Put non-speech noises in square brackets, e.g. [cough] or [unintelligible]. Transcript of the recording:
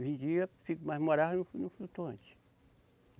Vendia, [unintelligible] mas morava no flutuante.